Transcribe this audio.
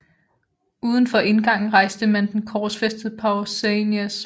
Uden for indgangen rejste man den korsfæstede Pausanias